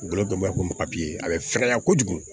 Golo bɛ ko a bɛ fɛgɛya kojugu